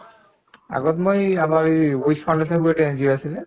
আগত মই আমাৰ এই foundation বুলি এটা NGO আছিলে